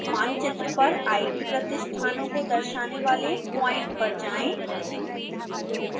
मानचित्र पर आईटी प्रतिष्ठानों को दर्शाने वाले प्वाइंट पर जाएं